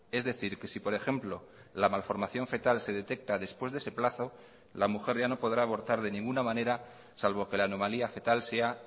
es decir que si por ejemplo la malformación fetal se detecta después de ese plazo la mujer ya no podrá abortar de ninguna manera salvo que la anomalía fetal sea